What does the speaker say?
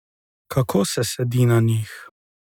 Kako se sedi na njih?